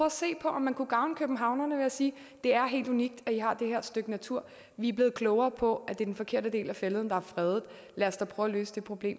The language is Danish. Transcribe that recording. at se på om man kunne gavne københavnerne ved at sige det er helt unikt at i har det her stykke natur vi er blevet klogere på at det er den forkerte del af fælleden der er fredet lad os da prøve at løse det problem